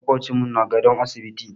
Maƙocinmu na gadon asibiti.